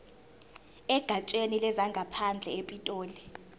egatsheni lezangaphandle epitoli